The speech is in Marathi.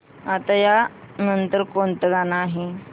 आता या नंतर कोणतं गाणं आहे